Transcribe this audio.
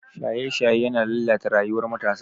Shaye-shaye yana lalata rayuwar matasa.